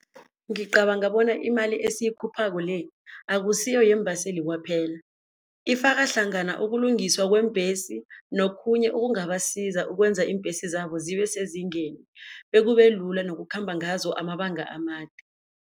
Ngicabanga bona imali esiyikhuphako le akusiyo yeembaseli kwaphela, ifaka hlangana ukulungiswa kweembhesi nokhunye okungabasiza ukwenza iimbhesi zabo zibe sezingeni bekube lula nokukhamba ngazo amabanga amade.